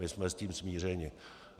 My jsme s tím smířeni.